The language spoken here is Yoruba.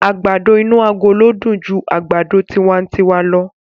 Àgbàdo inú agolo dùn ju àgbàdo tiwantiwa lọ.